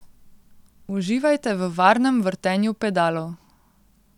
Uživajte v varnem vrtenju pedalov.